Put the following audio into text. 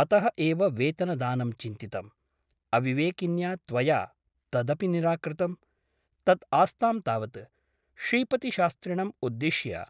अतः एव वेतनदानं चिन्तितम् । अविवेकिन्या त्वया तदपि निराकृतम् । तत् आस्तां तावत् , श्रीपतिशास्त्रिणम् उद्दिश्य